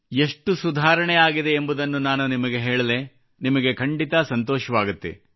ಎಷ್ಟು ಸುಧಾರಣೆ ಆಗಿದೆ ಎಂಬುದನ್ನು ನಾನು ನಿಮಗೆ ಹೇಳಲೇ ನಿಮಗೆ ಖಂಡಿತ ಸಂತೋಷವಾಗುತ್ತದೆ